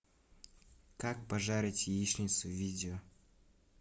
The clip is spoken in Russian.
как пожарить яичницу видео